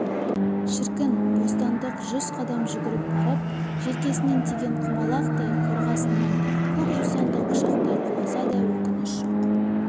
шіркін бостандық жүз қадам жүгіріп барып желкесінен тиген құмалақтай қорғасыннан көк жусанды құшақтай құласа да өкініш жоқ